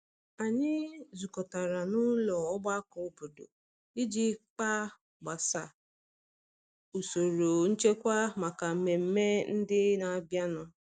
Anyị zukọtara na ụlọ ọgbakọ obodo iji kpa gbasa usoro nchekwa maka mmemme mmemme ndị n'abịa nu.